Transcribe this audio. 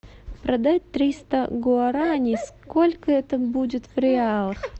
продать триста гуарани сколько это будет в реалах